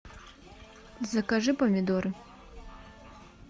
закажи помидоры